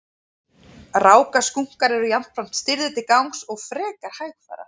Rákaskunkar eru jafnframt stirðir til gangs og frekar hægfara.